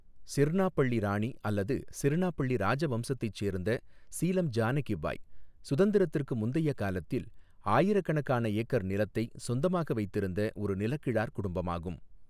சிர்ணாபள்ளி ராணி அல்லது சிர்ணாபள்ளி ராஜவம்சத்தைச் சேர்ந்த சீலம் ஜானகி பாய், சுதந்திரத்திற்கு முந்தைய காலத்தில் ஆயிரக்கணக்கான ஏக்கர் நிலத்தை சொந்தமாக வைத்திருந்த ஒரு நிலகிழார் குடும்பமாகும்.